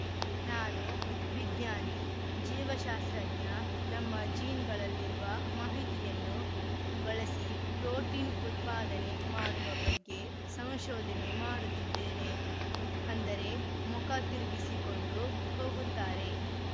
ನಾನು ವಿಜ್ಞಾನಿ ಜೀವಶಾಸ್ತ್ರಜ್ಞ ನಮ್ಮ ಜೀನ್‌ಗಳಲ್ಲಿರುವ ಮಾಹಿತಿಯನ್ನು ಬಳಸಿ ಪ್ರೊಟೀನ್‌ ಉತ್ಪಾದನೆ ಮಾಡುವ ಬಗ್ಗೆ ಸಂಶೋಧನೆ ಮಾಡುತ್ತಿದ್ದೇನೆ ಅಂದರೆ ಮುಖ ತಿರುಗಿಸಿಕೊಂಡು ಹೋಗುತ್ತಾರೆ